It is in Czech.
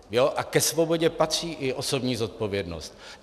A ke svobodě patří i osobní zodpovědnost.